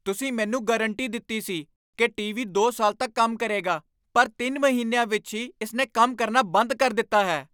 ਤੁਸੀਂ ਮੈਨੂੰ ਗਾਰੰਟੀ ਦਿੱਤੀ ਸੀ ਕੀ ਟੀਵੀ ਦੋ ਸਾਲ ਤੱਕ ਕੰਮ ਕਰੇਗਾ ਪਰ ਤਿੰਨ ਮਹੀਨਿਆਂ ਵਿੱਚ ਹੀ ਇਸ ਨੇ ਕੰਮ ਕਰਨਾ ਬੰਦ ਕਰ ਦਿੱਤਾ ਹੈ!